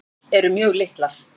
Tennur eru mjög litlar.